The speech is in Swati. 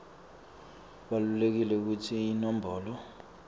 kubalulekile kutsi iinombolo